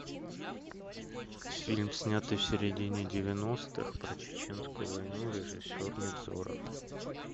фильм снятый в середине девяностых про чеченскую войну режиссер невзоров